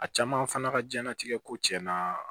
A caman fana ka diɲɛlatigɛ ko tiɲɛna